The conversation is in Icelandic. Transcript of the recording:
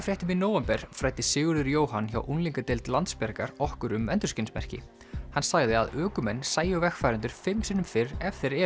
Krakkafréttum í nóvember fræddi Sigurður Jóhann hjá unglingadeild Landsbjargar okkur um endurskinsmerki hann sagði að ökumenn sæju vegfarendur fimm sinnum fyrr ef þeir eru